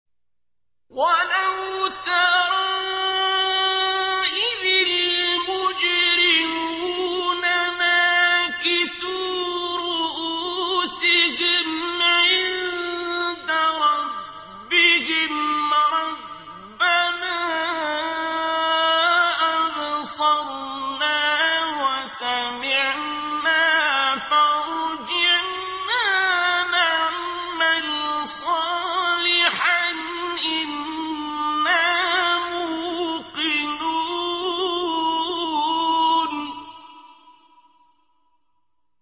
وَلَوْ تَرَىٰ إِذِ الْمُجْرِمُونَ نَاكِسُو رُءُوسِهِمْ عِندَ رَبِّهِمْ رَبَّنَا أَبْصَرْنَا وَسَمِعْنَا فَارْجِعْنَا نَعْمَلْ صَالِحًا إِنَّا مُوقِنُونَ